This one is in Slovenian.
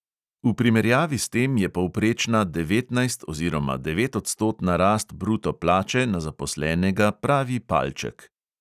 V primerjavi s tem je povprečna devetnajst oziroma devetodstotna rast bruto plače na zaposlenega pravi palček.